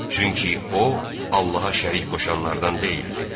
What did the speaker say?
Çünki o, Allaha şərik qoşanlardan deyildir.